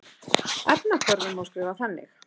Efnahvörfin má skrifa þannig